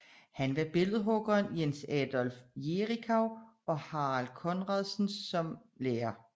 Han havde billedhuggerne Jens Adolf Jerichau og Harald Conradsen som lærere